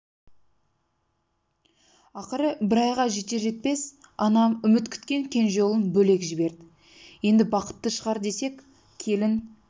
ақыры бір айға жетер-жетпес анам үміт күткен кенже ұлын бөлек жіберді енді бақытты шығар десек келін